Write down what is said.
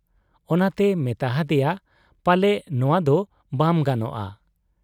ᱚᱱᱟᱛᱮᱭ ᱢᱮᱛᱟ ᱦᱟᱫᱮᱭᱟ, 'ᱯᱟᱞᱮ ᱱᱚᱶᱟᱫᱚ ᱵᱟᱢ ᱜᱟᱱᱚᱜ ᱟ ᱾